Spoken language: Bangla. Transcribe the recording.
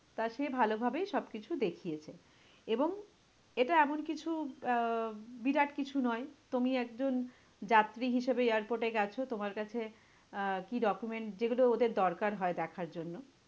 তা সে ভালোভাবেই সব কিছু দেখিয়েছে এবং এটা এমন কিছু আহ বিরাট কিছু নয়। তুমি একজন যাত্রী হিসেবে airport এ গেছো, তোমার কাছে আহ কি document যেগুলো ওদের দরকার হয় দেখার জন্য।